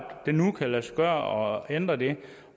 det nu kan lade sig gøre at ændre det